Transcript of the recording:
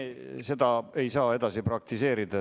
Ei, me seda ei saa edasi praktiseerida.